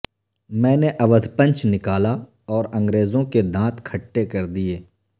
میں نے اودھ پنچ نکالا اور انگریزوں کے دانت کھٹے کر دیے